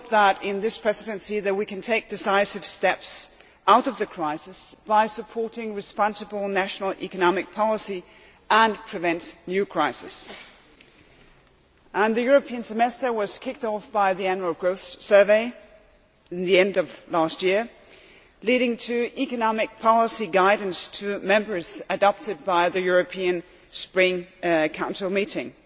We hope that, in this Presidency, we can both take decisive steps out of the crisis by supporting responsible national economic policy, and prevent new crises. The European Semester was kicked off by the Annual Growth Survey at the end of last year, leading to the economic policy guidance to Members to be adopted by the European Spring Council meeting.